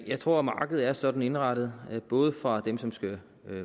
jeg tror markedet er sådan indrettet at der både for dem som skal